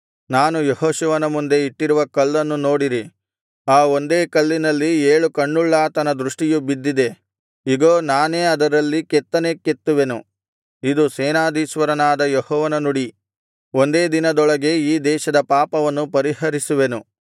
ನಾನು ಯೆಹೋಶುವನ ಮುಂದೆ ಇಟ್ಟಿರುವ ಕಲ್ಲನ್ನು ನೋಡಿರಿ ಆ ಒಂದೇ ಕಲ್ಲಿನಲ್ಲಿ ಏಳು ಕಣ್ಣುಳ್ಳಾತನ ದೃಷ್ಟಿಯು ಬಿದ್ದಿದೆ ಇಗೋ ನಾನೇ ಅದರಲ್ಲಿ ಕೆತ್ತನೆ ಕೆತ್ತುವೆನು ಇದು ಸೇನಾಧೀಶ್ವರನಾದ ಯೆಹೋವನ ನುಡಿ ಒಂದೇ ದಿನದೊಳಗೆ ಈ ದೇಶದ ಪಾಪವನ್ನು ಪರಿಹರಿಸುವೆನು